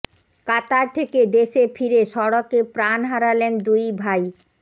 কাতার থেকে দেশে ফিরে সড়কে প্রাণ হারালেন দুই ভাই